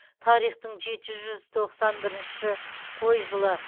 тарихтың жеті жүз тоқсан бірінші қой жылы